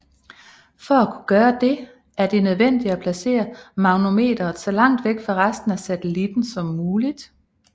For at kunne gøre dette er det nødvendigt at placere magnetometeret så langt væk fra resten af satellitten som muligt